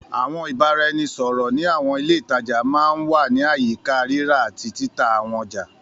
Àwọn ìbáraẹnisọ̀rọ̀ ní àwọn ilé ìtajà máa ń wà ní àyíká rírà àti títà àwọn ọjà.